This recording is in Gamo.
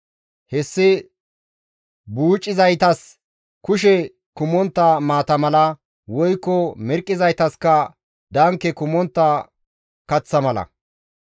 Hessi buucizaytas kushe kumontta maata mala woykko mirqqizaytaskka danke kumontta kaththa mala.